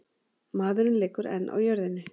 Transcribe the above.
Maðurinn liggur enn á jörðinni.